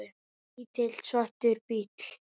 Lítill, svartur bíll.